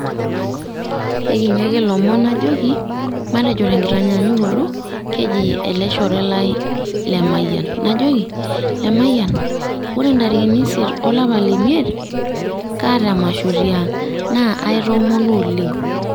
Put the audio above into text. Ekinyia ake ilomon najoki matejo te nkitanyaanyukoto keji ele shore lai Lemayian. Najoki Lemayian ore ntarikini isiet olapa le miet kaata emasho tiang naa aitoomono oleng.